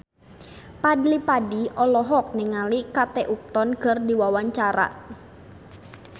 Fadly Padi olohok ningali Kate Upton keur diwawancara